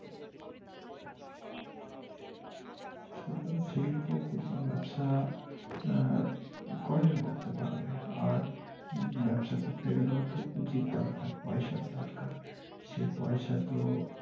ছোট শিল্প ক্ষুদ্র ব্যবসা আহ কয়জন করতে পারবে আর উম ব্যাবসা করতে গেলেও তো পুজির দরকার পয়সার দরকার সে পয়সা তো।